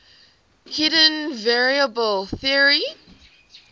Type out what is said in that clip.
hidden variable theory